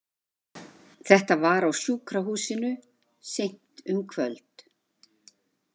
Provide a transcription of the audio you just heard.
Þetta var á sjúkrahúsinu, seint um kvöld.